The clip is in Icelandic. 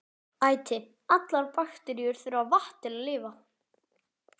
Æti: allar bakteríur þurfa vatn til að lifa.